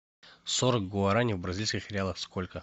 сорок гуарани в бразильских реалах сколько